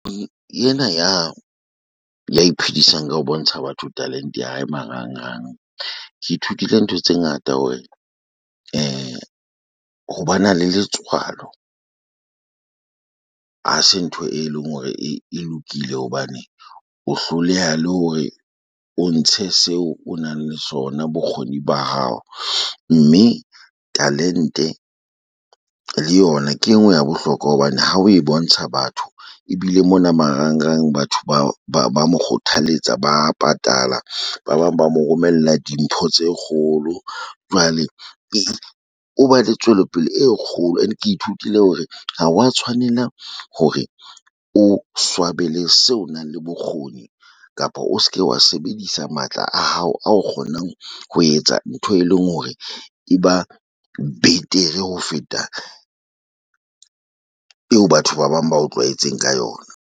Ena ya ya iphedisang ka ho bontsha batho talent-e ya hae marang-rangeng. Ke ithutile ntho tse ngata hore ho ba na le letswalo ha se ntho e leng hore e lokile hobane o hloleha le hore o ntshe seo o nang le sona bokgoni ba hao. Mme talent-e le yona ke e nngwe ya bohlokwa hobane ha o e bontsha batho ebile mona marang-rang batho ba ba ba mo kgothaletsa, ba patala ba bang ba mo romella dimpho tse kgolo jwale pele o tswelopele e kgolo. Ene ke ithutile hore ha wa tshwanela hore o swabele seo o nang le bokgoni kapa o se ke wa sebedisa matla a hao a o kgonang ho etsa ntho, e leng hore e ba betere ho feta eo batho ba bang ba o tlwaetseng ka yona.